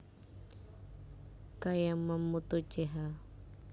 K Yamamoto Ch